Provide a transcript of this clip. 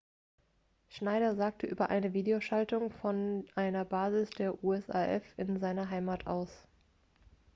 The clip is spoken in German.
schneider sagte über eine videoschaltung von einer basis der usaf in seiner heimat aus